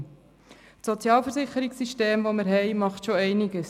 Unser Sozialversicherungssystem macht schon einiges.